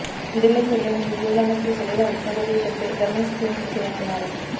విధుల్లోకి వెళ్లే ముందు ఉద్యోగులందరికీ శరీర ఉష్ణోగ్రతలు తెలిపే థర్మల్ స్క్రీనింగ్ చేయనున్నారు